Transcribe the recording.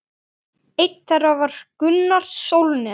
Einn þeirra var Gunnar Sólnes.